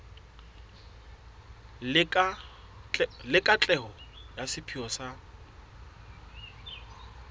le katleho ya sepheo sa